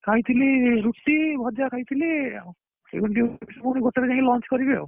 ଖାଇଥିଲି ରୁଟି ଭଜା ଖାଇଥିଲି ଆଉ ଫୁଣି ଗୋଟେ ରେ ଯାଇକି lunch କରିବି ଆଉ